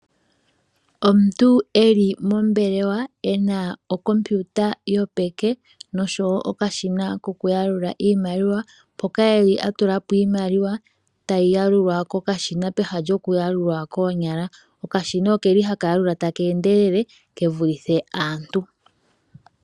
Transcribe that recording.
Omuntu eli mombelewa ena okompiuta yopeke, noshowo okashina kokuyalula oshimaliwa, mpoka eli a tulilwa po iimaliwa tayi yalulwa komashina pehala lyokuyalula koonyala. Okashina okeli haka yalula taka endelele ke vulithe aantu.